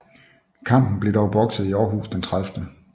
Kampen blev dog bokset i Aarhus den 30